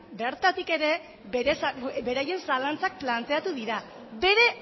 bertatik ere beraien zalantzak planteatu dira bere